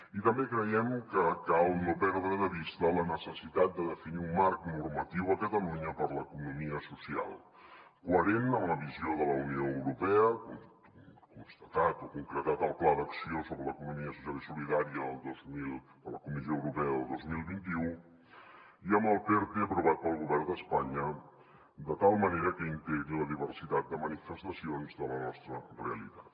i també creiem que cal no perdre de vista la necessitat de definir un marc normatiu a catalunya per a l’economia social coherent amb la visió de la unió europea constatat o concretat al pla d’acció sobre l’economia social i solidària de la comissió europea del dos mil vint u i amb el perte aprovat pel govern d’espanya de tal manera que integri la diversitat de manifestacions de la nostra realitat